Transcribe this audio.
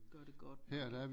Gør det godt nok ikke